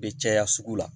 Be caya sugu la